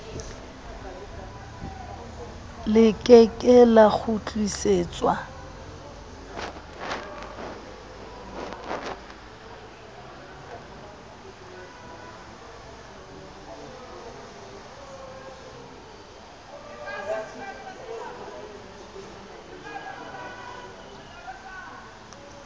le ke ke la kgutlisetswa